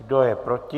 Kdo je proti?